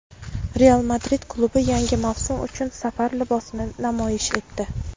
"Real Madrid" klubi yangi mavsum uchun safar libosini namoyish etdi.